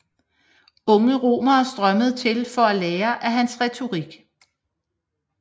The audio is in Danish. Unge romere strømmede til for at lære af hans retorik